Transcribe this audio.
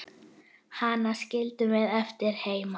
Hana skildum við eftir heima.